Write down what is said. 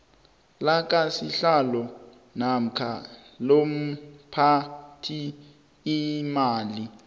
lakasihlalo namkha lomphathiimali